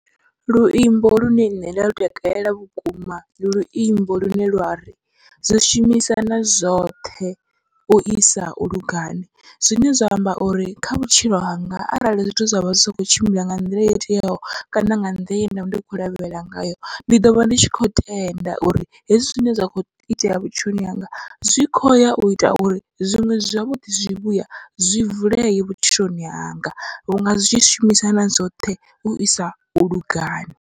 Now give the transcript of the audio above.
Luimbo lune nṋe nda lu takalela vhukuma ndi luimbo lune lwari zwi shumisana zwoṱhe uisa u lugani, zwine zwa amba uri kha vhutshilo hanga arali zwithu zwavha zwi sa kho tshimbila nga nḓila yo teaho kana nga nḓila ye ndavha ndi khou lavhelela ngayo. Ndi ḓovha ndi tshi kho tenda uri hezwi zwine zwa kho itea vhutshiloni hanga zwi khoya u ita uri zwiṅwe zwavhuḓi zwivhuya zwi vuleye vhutshiloni hanga, vhunga zwi tshi shumisana zwoṱhe uisa u lugani.